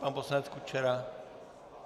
Pan poslanec Kučera?